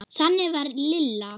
Þannig var Lilla.